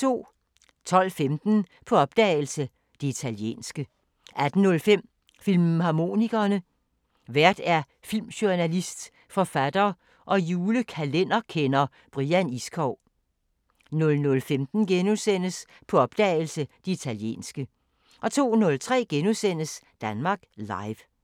12:15: På opdagelse – Det italienske 18:05: Filmharmonikerne: Vært filmjournalist, forfatter og julekalenderkender Brian Iskov 00:15: På opdagelse – Det italienske * 02:03: Danmark Live *